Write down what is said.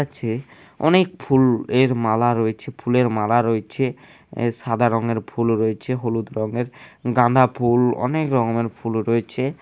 আছে অনেক ফুলের মালা রয়েছে ফুলের মালা রয়েছে | সাদা রঙের ফুল রয়েছে | হলুদ রঙের গাঁদা ফুল অনেক রকমের ফুল রয়েছে।